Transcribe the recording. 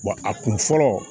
Wa a kun fɔlɔ